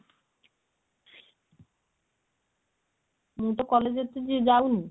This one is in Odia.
ମୁଁ ତ college ଏତେ ଯାଉନି